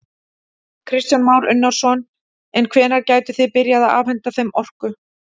Kristján Már Unnarsson: En hvenær gætuð þið byrjað að afhenta þeim orku?